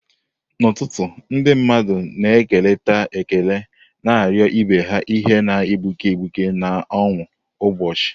N'ụtụtụ, ndị mmadụ na-ekerịta ekele, na-arịọ ibe ha ihe na-egbuke egbuke na ọṅụ ụbọchị.